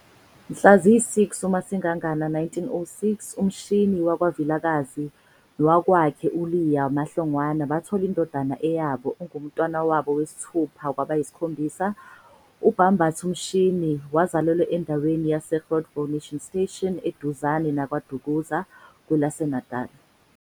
Mhla ziyi-6 uMasingangana 1906 uMshini wakwaVilakazi nowakwakhe uLeah uMaHlongwange bathola indododana eyabe ungumntwana wabo wesithupha kwabayisikhombisa. UBhambatha kaMshini wazalelwa endaweni yase Groutville Mission Station eduzane naKwaDukuza, kwelaseNatali.